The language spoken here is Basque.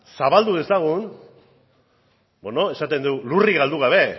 zabaldu dezagun esaten dugu lurrik galde gabe